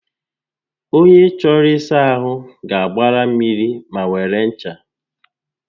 Ònye chọrọ ịsa ahụ ga-agbara mmiri ma were ncha